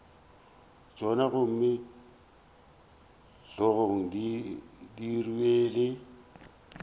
tšona gomme hlogong di rwele